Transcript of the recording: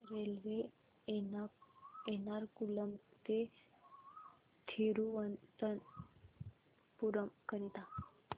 railway Ernakulam ते थिरुवनंतपुरम करीता